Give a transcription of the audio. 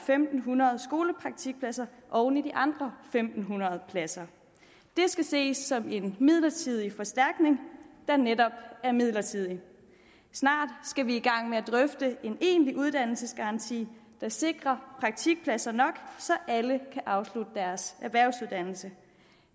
fem hundrede skolepraktikpladser oven i de andre en fem hundrede pladser det skal ses som en midlertidig forstærkning der netop er midlertidig snart skal vi i gang med at drøfte en egentlig uddannelsesgaranti der sikrer praktikpladser nok så alle kan afslutte deres erhvervsuddannelse